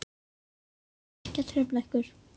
Ég ætla ekki að trufla ykkur.